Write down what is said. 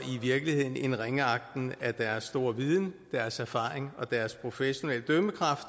virkeligheden en ringeagten af deres store viden deres erfaring og deres professionelle dømmekraft